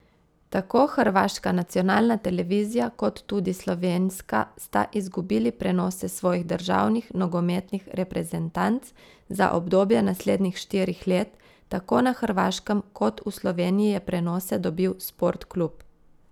Tako hrvaška nacionalna televizija kot tudi slovenska sta izgubili prenose svojih državnih nogometnih reprezentanc za obdobje naslednjih štirih let, tako na Hrvaškem kot v Sloveniji je prenose dobil Sportklub!